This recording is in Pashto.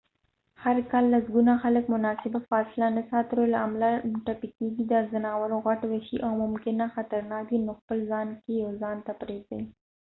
هر کال لسګونه خلک مناسبه فاصله نه ساتلو له امله ټپي کیږي دا ځناور غټ وحشي او ممکناً خطرناک دي نو خپل ځای کې یه ځان ته پرېږدئ